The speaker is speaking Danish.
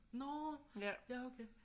Nåå ja okay